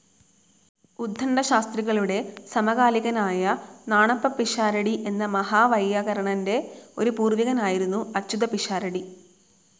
ഉദ്ദണ്ഡശാസ്ത്രികളുടെ സമകാലികനായ നാണപ്പപ്പിഷാരടി എന്ന മഹാവൈയാകരണന്റെ ഒരു പൂർവികനായിരുന്നു അച്യുതപ്പിഷാരടി.